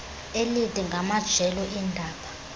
elide ngamajelo eendaba